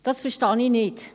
Das verstehe ich nicht.